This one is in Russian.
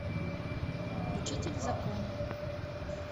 учитель в законе